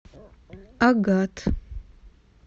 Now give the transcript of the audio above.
агат